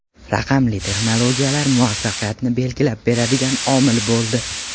Raqamli texnologiyalar muvaffaqiyatni belgilab beradigan omil bo‘ldi.